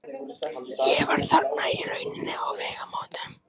Ég var þarna í rauninni á vegamótum.